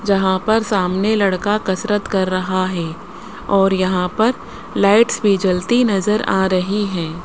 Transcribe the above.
जहां पर सामने लड़का कसरत कर रहा है और यहां पर लाइट्स भी जलती नजर आ रही हैं।